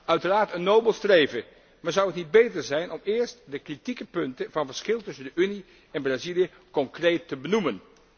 Uiteraard een nobel streven, maar zou het niet beter zijn om eerst de kritieke punten van verschil tussen de Unie en Brazilië concreet te benoemen?